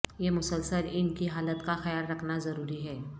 یہ مسلسل ان کی حالت کا خیال رکھنا ضروری ہے